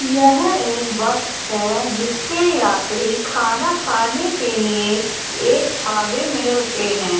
यह एक बस है जिसके यात्री खाना खाने के लिए एक ढ़ाबे में रुके हैं।